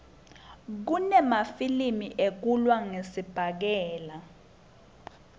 kunemafilimi ekulwa ngesibhakela